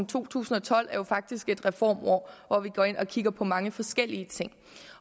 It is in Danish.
to tusind og tolv er jo faktisk et reformår hvor vi går ind og kigger på mange forskellige ting